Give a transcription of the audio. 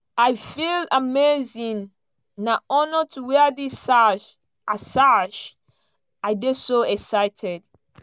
"i feel amazing na honour to wear dis sash i sash i dey so excited